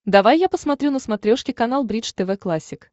давай я посмотрю на смотрешке канал бридж тв классик